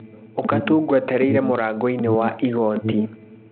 Ũka tu ngwetereire mũrango-inĩ wa igoti.